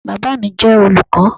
Baba mi jẹ olukọ